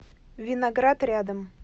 виноград рядом